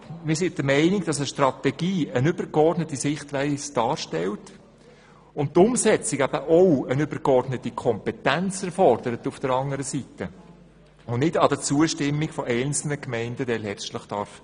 Wir sind der Meinung, dass eine Strategie eine übergeordnete Sichtweise darstellt und die Umsetzung auch eine übergeordnete Kompetenz erfordert und letztlich nicht an der Zustimmung Einzelner scheitern darf.